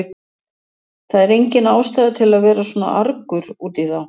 Það er engin ástæða til að vera svona argur út í þá.